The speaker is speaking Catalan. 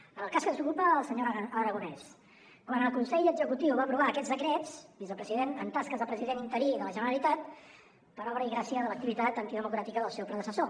en el cas que ens ocupa el senyor aragonès quan el consell executiu va aprovar aquests decrets vicepresident en tasques de president interí de la generalitat per obra i gràcia de l’activitat antidemocràtica del seu predecessor